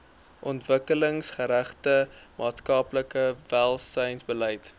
ontwikkelingsgerigte maatskaplike welsynsbeleid